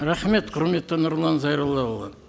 рахмет құрметті нұрлан зайроллаұлы